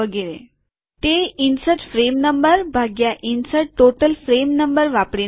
તે પ્રાપ્ત કરાય છે શામેલ ફ્રેમ ક્રમાંક ભાગ્યા શામેલ કુલ ફ્રેમ ક્રમાંક વાપરીને